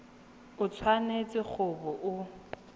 o tshwanetse go bo o